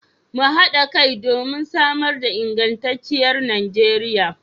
Mu hada kai domin samar da ingantacciyar Najeriya